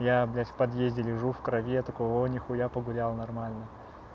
я блядь в подъезде лежу в крови я такой о не хуя погулял нормально